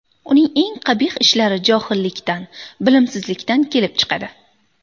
Uning eng qabih ishlari johillikdan, bilimsizlikdan kelib chiqadi.